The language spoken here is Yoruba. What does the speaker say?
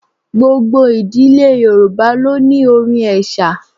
Gbogbo ìdílé Yorùbá ló ní orin ẹ̀sà.